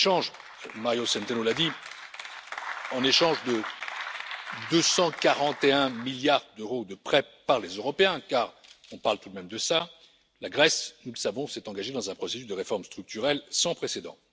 Comme l'a dit Mario Centeno, en échange de 241 milliards d'euros de prêts par les Européens, car on parle tout de même de cela, la Grèce, nous le savons, s'est engagée dans un processus de réformes structurelles sans précédent.